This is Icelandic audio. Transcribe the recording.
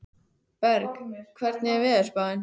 Berg, hvernig er veðurspáin?